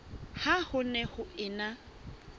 ha ho ne ho ena